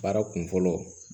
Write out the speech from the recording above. Baara kun fɔlɔ